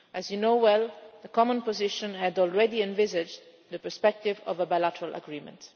As you are aware, the common position had already envisaged the perspective of a bilateral agreement.